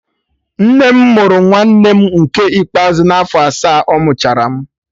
Nne m mụrụ nwanne m nke ikpeazụ afọ asaa ọmụchara m